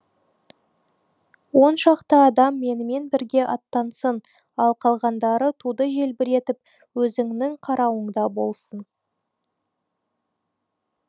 он шақты адам менімен бірге аттансын ал қалғандары туды желбіретіп өзіңнің қарауыңда болсын